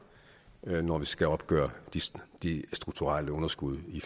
når vi skal opgøre de strukturelle underskud i